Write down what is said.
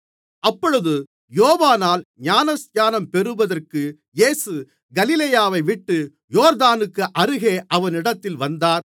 அப்பொழுது யோவானால் ஞானஸ்நானம் பெறுவதற்கு இயேசு கலிலேயாவைவிட்டு யோர்தானுக்கு அருகே அவனிடத்தில் வந்தார்